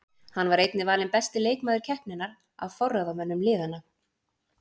Hann var einnig valinn besti leikmaður keppninnar af forráðamönnum liðanna.